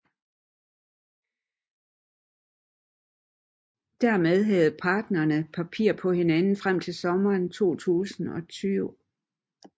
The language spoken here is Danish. Dermed havde parterne papir på hinanden frem til sommeren 2020